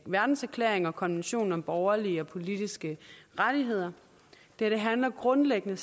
verdenserklæring og konventionen om borgerlige og politiske rettigheder det her handler grundlæggende